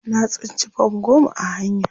Na tsinci fam goma a hanya.